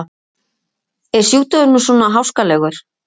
Er sjúkdómurinn svona háskalegur?